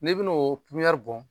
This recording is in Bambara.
N'i bina o bɔn